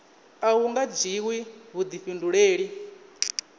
a hu nga dzhiwi vhuḓifhinduleli